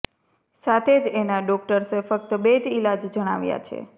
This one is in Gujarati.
સાથે જ એના માટે ડોક્ટર્સે ફક્ત બે જ ઈલાજ જણાવ્યા છે